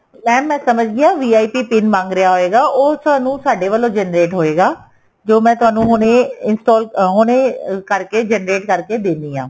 mam ਮੈਂ ਸਮਝ ਗਈ ਆ VIP PIN ਮੰਗ ਰਿਹਾ ਹੋਏਗਾ ਉਹ ਤੁਹਾਨੂੰ ਸਾਡੇ ਵੱਲੋ generate ਹੋਏਗਾ ਜੋ ਮੈਂ ਤੁਹਾਨੂੰ ਹੁਣੇ install ਹੁਣੇ ਕਰਕੇ generate ਕਰਕੇ ਦੇਨੀ ਆ